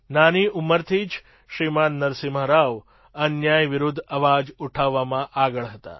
નાની ઉંમરથી જ શ્રીમાન નરસિમ્હા રાવ અન્યાય વિરુદ્ધ અવાજ ઉઠાવવામાં આગળ હતા